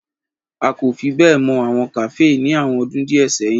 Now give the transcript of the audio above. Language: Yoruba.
A ko fi be mọ awọn kafee ni awọn ọdun diẹ sẹyin.